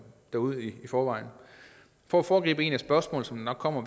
derude i forvejen for at foregribe et af de spørgsmål som nok kommer